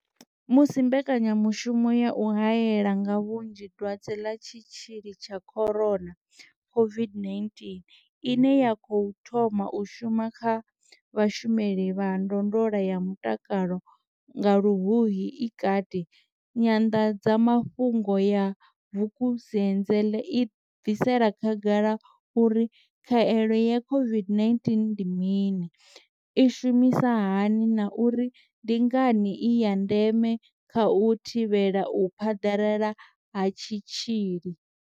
Musi mbekanyamu shumo ya u haela nga vhunzhi dwadze ḽa tshitzhili tsha corona COVID-19 ine ya khou thoma u shuma kha vhashumeli vha ndondolo ya mutakalo nga Luhuhi i kati, Nyanḓadza mafhungo ya Vukuzenzele i bvisela khagala uri khaelo ya COVID-19 ndi mini i shumisa hani na uri ndi ngani i ya ndeme kha u thivhela u phaḓalala ha tshitzhili.